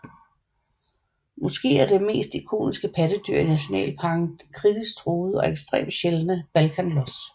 Måske er det mest ikoniske pattedyr i nationalparken den kritisk truede og ekstremt sjældne balkanlos